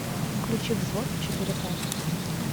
включи взвод четыре ка